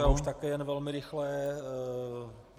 Já už také jenom velmi rychle.